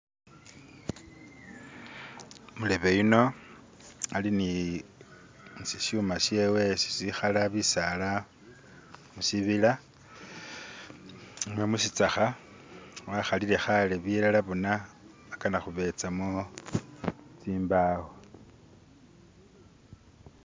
Umulebe iyuno ali ni shi shuma shewe ishisaala bisaala mushibila mushitsaka wakhalile kaale bilala bona agana kubezamo zimbaawo.